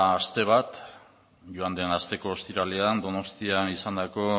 aste bat joan den asteko ostiralean donostian izandako